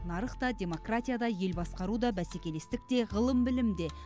нарық та демократия да ел басқару да бәсекелестік те ғылым білім де